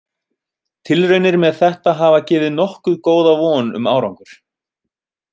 Tilraunir með þetta hafa gefið nokkuð góða von um árangur.